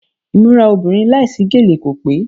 Ìmúra obìnrin láìsí gèlè kò pé.